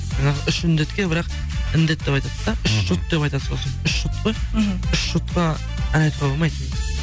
жаңағы үш індетке бірақ індет деп айтады да үш жұт деп айтады сосын үш жұт қой мхм үш жұтқа ән айтуға болмайды